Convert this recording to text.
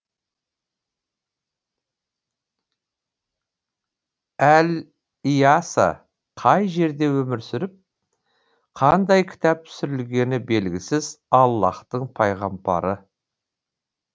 әл йаса қай жерде өмір сүріп қандай кітап түсірілгені белгісіз аллаһтың пайғамбары